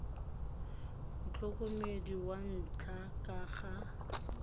motlhokomedi wa ntlha ka ga